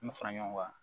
An bɛ fara ɲɔgɔn kan